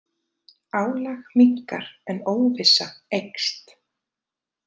Álag minnkar en óvissa eykst